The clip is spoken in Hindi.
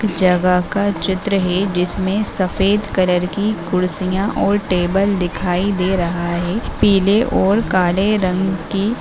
जगह का चित्र है। जिसमें सफेद कलर की कुर्सियां और टेबल दिखाई दे रहा है पिले और काले रंग की --